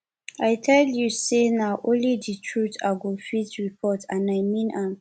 i tell you say na only the truth i go fit report and i mean am